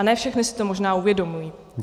A ne všechny si to možná uvědomují.